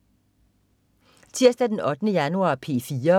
Tirsdag den 8. januar - P4: